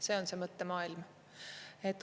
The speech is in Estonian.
See on see mõttemaailm.